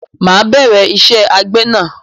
Máà bẹ̀rẹ̀ ìṣe àgbẹ̀na